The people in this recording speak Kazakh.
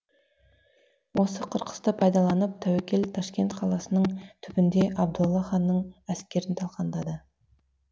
осы қырқысты пайдаланып тәуекел ташкент қаласының түбінде абдолла ханның әскерін талқандады